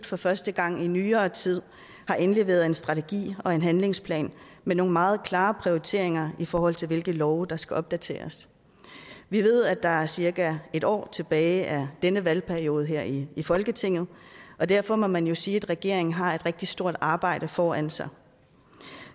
for første gang i nyere tid har indleveret en strategi og en handlingsplan med nogle meget klare prioriteringer i forhold til hvilke love der skal opdateres vi ved at der er cirka et år tilbage af denne valgperiode her i folketinget og derfor må man jo sige at regeringen har et rigtig stort arbejde foran sig